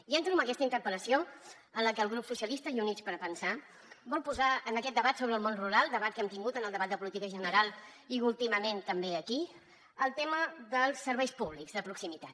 i entro en aquesta interpel·lació en la que el grup socialista i units per avançar vol posar en aquest debat sobre el món rural debat que hem tingut en el debat de política general i últimament també aquí el tema dels serveis públics de proximitat